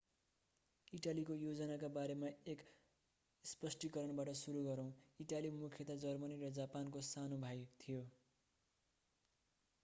इटालीको योजनाका बारेमा एक स्पष्टीकरणबाट सुरू गरौं इटाली मुख्यतया जर्मनी र जापानको सानो भाई थियो